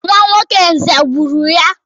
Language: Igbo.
Nwa nwoke Nze gburu ya.